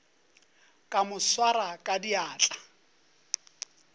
ka mo swara ka diatla